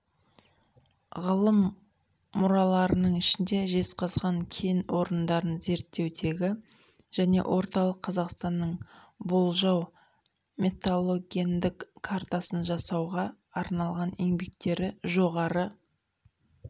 ғылыми мұраларының ішінде жезқазған кен орындарын зерттеудегі және орталық қазақстанның болжау металлогендік картасын жасауға арналған еңбектері жоғары